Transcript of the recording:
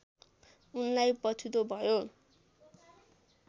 उनलाई पछुतो भयो